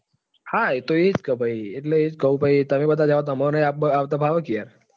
હા એતો એ જકે ભાઈ એટલે એ જ કઉં કે તમે બધા જાસો તો અમને પણ આવતા ફાવે કે યાર.